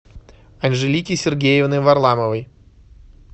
анжелики сергеевны варламовой